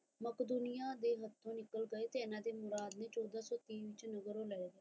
ਮਕਦੂਨੀਆਂ ਦੇ ਹਤੋ ਨਿਕਲ ਗਏ ਤੇ ਏਨਾ ਦੇ ਮੁਰਾਦ ਚੋਦਾਂ ਸੋ ਤੀਹ